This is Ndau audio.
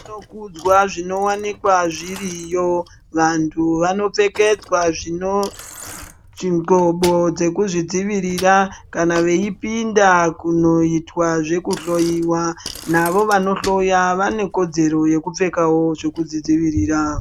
Zvinokudzwa zvinowanikwa zviriyo vanhu vanopfekedzwa ndhlubo dzekuzvidzivirira kana veipinda kunoitwa zvekuhloyiwa navo vanhloya vane kodzero yekupfekawo zveku zvidzivirira.